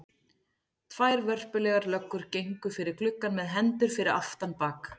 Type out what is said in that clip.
Tvær vörpulegar löggur gengu fyrir gluggann með hendur fyrir aftan bak.